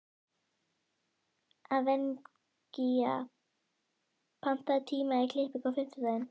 Evgenía, pantaðu tíma í klippingu á fimmtudaginn.